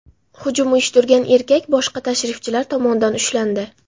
Hujum uyushtirgan erkak boshqa tashrifchilar tomonidan ushlandi.